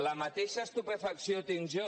la mateixa estupefacció tinc jo